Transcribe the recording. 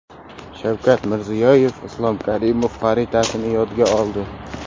Shavkat Mirziyoyev Islom Karimov xotirasini yodga oldi.